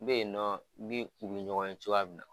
N be yen nɔ n bi u bi ɲɔgɔn ye cogoya min na